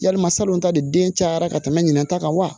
Yalima salon ta de den cayara ka tɛmɛ ɲinata kan wa